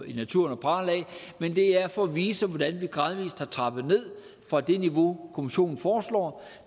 i naturen at prale af men det er for at vise hvordan vi gradvis har trappet ned fra det niveau kommissionen foreslår